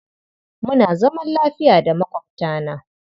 Muna zaman lafiya da maƙwabtana.